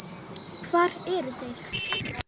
Hvar eru þeir ekki?